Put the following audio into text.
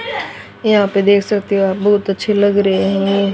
यहां पे देख सकते हो आप बहोत अच्छे लग रहे--